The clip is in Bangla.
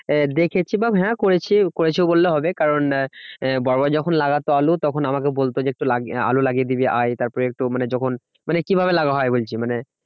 আহ দেখেছি হ্যাঁ করেছি করেছি বললেও হবে কারণ বড়োরা যখন লাগতো আলু তখন আমাকে বলতো যে একটু আলু লাগিয়ে দিবি আয় তারপরে একটু মানে যখন মানে কি ভাবে লাগাতে হয় ওই কি মানে